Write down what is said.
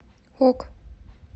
ок